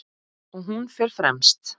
Og hún fer fremst.